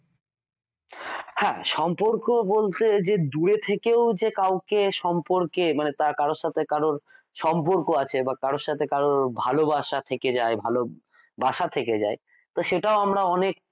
হ্যাঁ সম্পর্ক বলতে যে দূরে থেকেও যে কাউকে সম্পর্কে মানে কারোর সাথে কারোর সম্পর্ক আছে, কারোর সাথে কারোর ভালোবাসা থেকে যায় ভালো বাসা থেকে যায় সেটাও আমরা অনেক,